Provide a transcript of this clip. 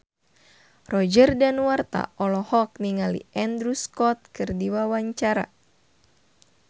Roger Danuarta olohok ningali Andrew Scott keur diwawancara